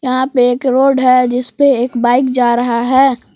यहां पे एक रोड है जिस पे एक बाइक जा रहा है।